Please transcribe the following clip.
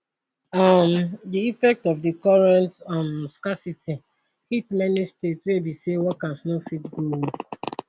um di effects of di current um scarcity hit many states wey be say workers no fit go work